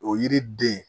O yiri den